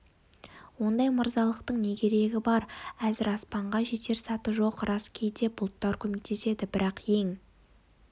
ондай мырзалықтың не керегі бар әзір аспанға жетер саты жоқ рас кейде бұлттар көмектеседі бірақ ең